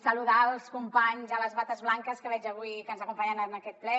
saludar els companys de les bates blanques que veig avui que ens acompanyen en aquest ple